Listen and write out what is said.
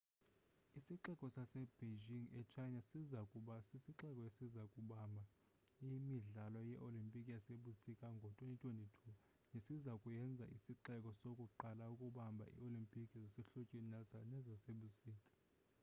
isixeko sasebeijing e-china siza kuba sisixeko esiza kubamba imidlalo yeolimpiki yasebusika ngo-2022 nesiza kuyenza isixeko sokuqala ukubamba ii-olimpiki zasehlotyeni nezasebusika